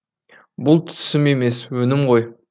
бұл түсім емес өңім ғой